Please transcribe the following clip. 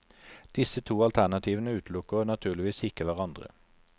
Disse to alternativene utelukker naturligvis ikke hverandre.